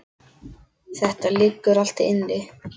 Þetta liggur allt inni